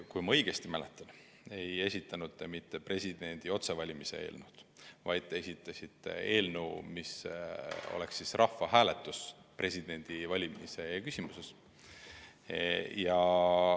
Kui ma õigesti mäletan, ei esitanud te mitte presidendi otsevalimise eelnõu, vaid te esitasite eelnõu, mille sisuks oli korraldada rahvahääletus presidendi otsevalimise küsimuses.